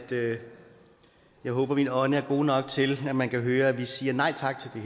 jeg håber min ånde er god nok til at man kan høre at vi siger nej tak til